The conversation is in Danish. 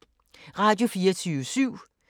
Radio24syv